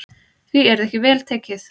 Því yrði ekki vel tekið.